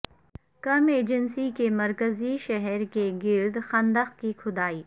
کرم ایجنسی کے مرکزی شہر کے گرد خندق کی کھدائی